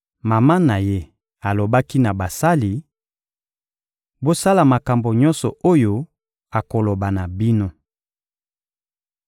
Mama na Ye alobaki na basali: — Bosala makambo nyonso oyo akoloba na bino.